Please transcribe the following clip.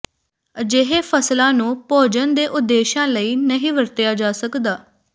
ਅਜਿਹੇ ਫਸਲਾਂ ਨੂੰ ਭੋਜਨ ਦੇ ਉਦੇਸ਼ਾਂ ਲਈ ਨਹੀਂ ਵਰਤਿਆ ਜਾ ਸਕਦਾ